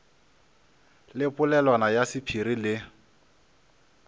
le polelwana ya sephiri le